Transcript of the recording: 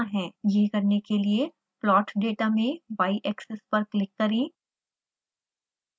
यह करने के लिए plot data में yaxis पर क्लिक करें